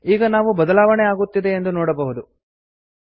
ಈಗ ನಾವು ಬದಲಾವಣೆ ಆಗುತ್ತಿದೆ ಎಂದು ನೋಡಬಹುದು